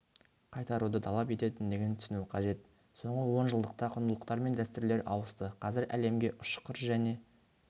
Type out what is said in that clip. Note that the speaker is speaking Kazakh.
қайтаруды талап ететіндігін түсіну қажет соңғы онжылдықта құндылықтар мен дәстүрлер ауысты қазір әлемге ұшқыр және